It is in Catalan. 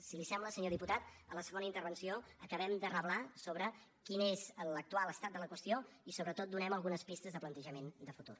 si li sembla senyor diputat a la segona intervenció ho acabem de reblar sobre quin és l’actual estat de la qüestió i sobretot donem algunes pistes de plantejament de futur